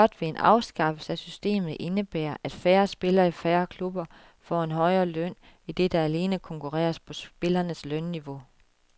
Blot vil en afskaffelse af systemet indebære, at færre spillere i færre klubber får en højere løn, idet der alene konkurreres på spillernes lønniveau.